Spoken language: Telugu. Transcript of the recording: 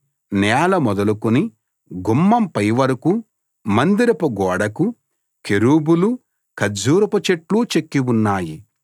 నేల మొదలుకుని గుమ్మం పైవరకూ మందిరపు గోడకు కెరూబులు ఖర్జూరపు చెట్లు చెక్కి ఉన్నాయి